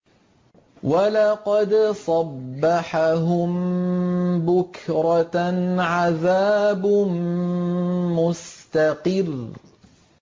وَلَقَدْ صَبَّحَهُم بُكْرَةً عَذَابٌ مُّسْتَقِرٌّ